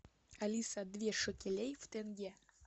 алиса две шекелей в тенге